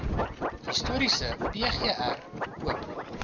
historiese pgr oop